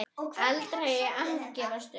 Aldrei að gefast upp.